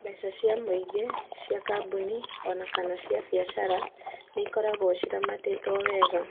Mbeca cia mũingĩ, cia kambuni o na kana cia biacara nĩ ikoragwo ciramatĩtwo wega.